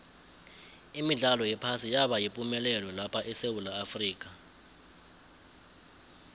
imidlalo yephasi yaba yipumelelo lapha esewula afrika